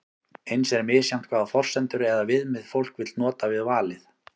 eins er misjafnt hvaða forsendur eða viðmið fólk vill nota við valið